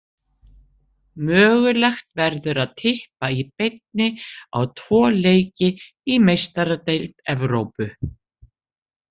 Mögulegt verður að Tippa í beinni á tvo leiki í Meistaradeild Evrópu.